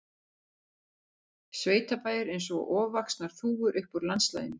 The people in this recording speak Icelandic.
Sveitabæir eins og ofvaxnar þúfur upp úr landslaginu.